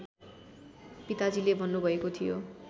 पिताजीले भन्नुभएको थियो